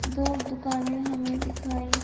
दो दुकानें हमें दिखाई--